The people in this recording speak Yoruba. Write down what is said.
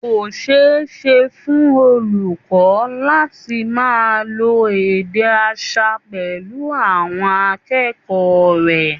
Kò ṣeé ṣe fún olùkọ́ láti máa lo èdè aṣa pẹ̀lú àwọn akẹ́kọ̀ọ́ rẹ̀